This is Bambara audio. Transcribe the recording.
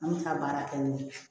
An bɛ ka baara kɛ ni